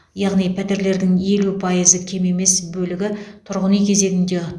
яғни пәтерлердің елу пайызы кем емес бөлігі тұрғын үй кезегінде